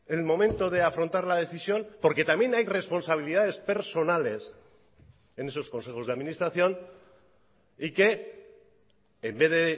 el momento de afrontar la decisión porque también hay responsabilidades personales en esos consejos de administración y que en vez de